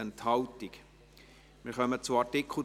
Antrag SiK / Regierungsrat I)